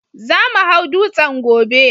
Za mu hau dutsen gobe